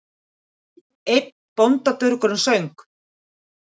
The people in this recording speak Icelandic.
Einn bóndadurgurinn söng